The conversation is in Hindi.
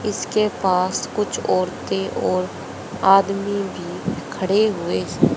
इसके पास कुछ औरतें और आदमी भी खड़े हुए--